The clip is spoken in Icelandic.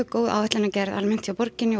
góð áætlanagerð hjá borginni